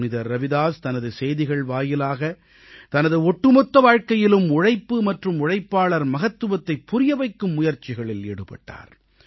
புனிதர் ரவிதாஸ் தனது செய்திகள் வாயிலாக தனது ஒட்டுமொத்த வாழ்க்கையிலும் உழைப்பு மற்றும் உழைப்பாளர் மகத்துவத்தைப் புரியவைக்கும் முயற்சிகளில் ஈடுபட்டார்